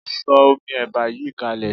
Sọ omi ẹ̀bà yìí kalẹ̀.